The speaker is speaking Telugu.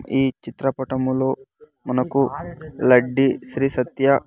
ఈ చిత్రపటములో మనకు లడ్డి శ్రీ సత్య--